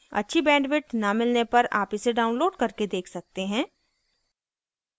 अच्छी bandwidth न मिलने पर आप इसे download करके देख सकते हैं